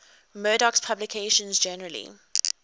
murdoch's publications generally